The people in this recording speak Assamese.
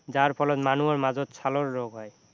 যাৰ ফলত মানুহৰ মাজত ছালৰ ৰোগ হয়